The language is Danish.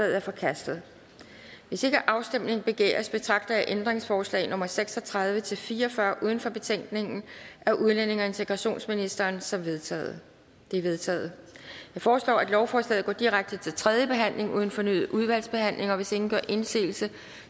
er forkastet hvis ikke afstemning begæres betragter jeg ændringsforslag nummer seks og tredive til fire og fyrre uden for betænkningen af udlændinge og integrationsministeren som vedtaget de er vedtaget jeg foreslår at lovforslaget går direkte til tredje behandling uden fornyet udvalgsbehandling hvis ingen gør indsigelse